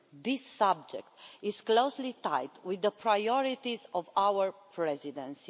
This subject is closely tied in with the priorities of our Presidency.